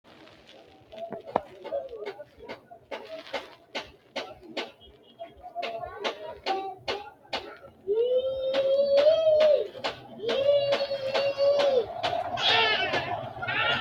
dancha uduunne uddidhe biiffe ofoltino beetto buna xorshitanni mulese duucha uduunne worte daabbo buna xeensanniha hattono haanja uduunne wodhitinote yaate